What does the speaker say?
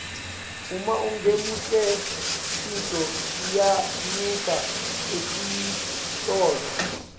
uma ungemuhle tintfo tiyanyuka etitolo